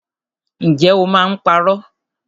Ǹjẹ́ o máa ń parọ́?